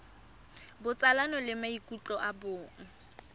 botsalano le maikutlo a bong